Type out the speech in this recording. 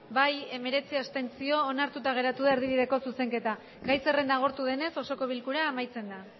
bai hemeretzi abstentzio onartuta geratu da erdibideko zuzenketa gai zerrenda agortu denez osoko bilkura amaitzen da